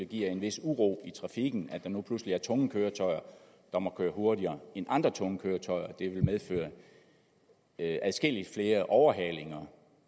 giver en vis uro i trafikken at der nu pludselig er nogle tunge køretøjer der må køre hurtigere end andre tunge køretøjer og at det vil medføre adskillig flere overhalinger